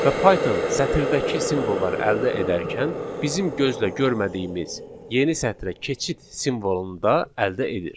Və Python sətirdəki simvolları əldə edərkən, bizim gözlə görmədiyimiz yeni sətrə keçid simvolunu da əldə edir.